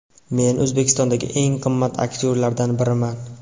Men O‘zbekistondagi eng qimmat aktyorlardan biriman”.